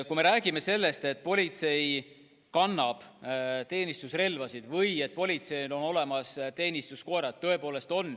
Kui me räägime sellest, et politsei kannab teenistusrelvasid või et politseil on olemas teenistuskoerad, siis tõepoolest on.